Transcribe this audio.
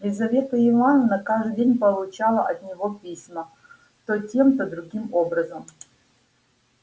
лизавета ивановна каждый день получала от него письма то тем то другим образом